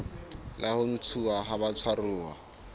la ho ntshuwa ha batshwaruwa